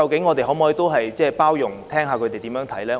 我們可否多點包容，聽聽他們的看法？